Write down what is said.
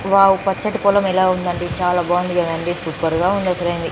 wow పచతి పొలం ఎలా ఉందండి చాల బాగుంది కదండి సూపర్ గా ఉంది